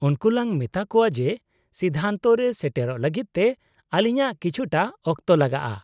-ᱩᱱᱠᱩ ᱞᱟᱝ ᱢᱮᱛᱟ ᱠᱚᱶᱟ ᱡᱮ ᱥᱤᱫᱽᱫᱷᱟᱱᱛᱚ ᱨᱮ ᱥᱮᱴᱮᱨᱚᱜ ᱞᱟᱹᱜᱤᱫ ᱛᱮ ᱟᱹᱞᱤᱧᱟᱹᱜ ᱠᱤᱪᱷᱩᱴᱟ ᱚᱠᱛᱚ ᱞᱟᱜᱟᱜᱼᱟ ᱾